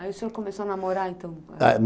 Aí o senhor começou a namorar, então?